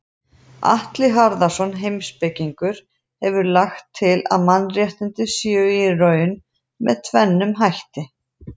Atli Harðarson heimspekingur hefur lagt til að mannréttindi séu í raun með tvennum hætti.